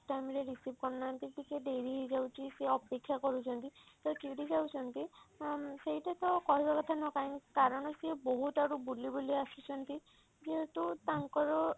time ରେ receive କରୁନାହାନ୍ତି ଟିକେ ଡେରି ହେଇଯାଉଛି ସେ ଅପେକ୍ଷା କରୁଛନ୍ତି ତ ଚିଡି ଯାଉଛନ୍ତି ma'am ସେଇଟା ତ କହିବା କଥା ନୁହଁ କାହିଁକି କାରଣ ସେ ବହୁତ ଆଡୁ ବୁଲି ବୁଲି ଆସୁଛନ୍ତି ଯେହେତୁ ତାଙ୍କର